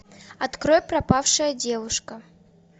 открой пропавшая девушка